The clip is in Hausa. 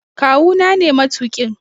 Kawu na ne matuƙin.